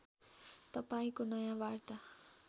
तपाईँंको नयाँ वार्ता